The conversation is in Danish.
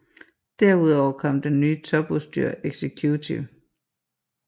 Derudover kom det nye topudstyr Executive